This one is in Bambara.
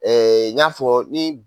n y'a fɔ ni